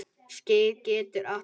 Skeið getur átt við